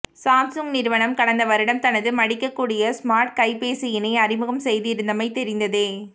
Samsung நிறுவனம் கடந்த வருடம் தனது மடிக்கக்கூடிய ஸ்மார்ட் கைப்பேசியினை அறிமுகம் செய்திருந்தமை தெரிந்ததே